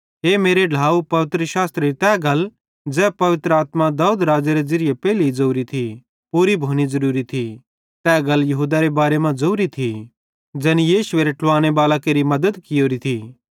हे मेरे ढ्लाव पवित्रशास्त्रेरी तै गल ज़ै पवित्र आत्मा दाऊद राज़ेरी ज़िरीये पेइले ज़ोरी थी पूरी भोनी ज़रुरी थी तै गल यहूदारे बारे मां ज़ोरी थी ज़ैनी यीशुएरे ट्लुवांने बालां केरि मद्दत कियोरी थी